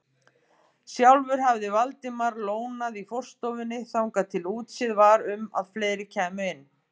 Sjálfur hafði Valdimar lónað í forstofunni þangað til útséð var um að fleiri kæmu inn.